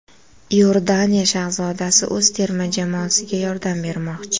Iordaniya shahzodasi o‘z terma jamoasiga yordam bermoqchi.